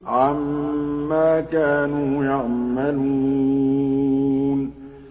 عَمَّا كَانُوا يَعْمَلُونَ